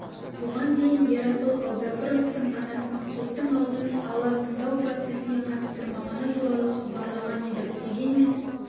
бұған дейін ерасыл әубәкіровтың анасын соттың алдын ала тыңдау процесіне қатыстырмағаны туралы хабарлаған едік дегенмен